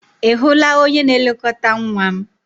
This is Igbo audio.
Ị hụla onye na-elekọta nwa m?